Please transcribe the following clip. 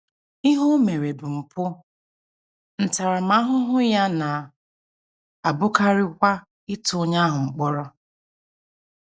Ihe o mere bụ mpụ, ntaramahụhụ ya na - abụkarịkwa ịtụ onye ahụ mkpọrọ.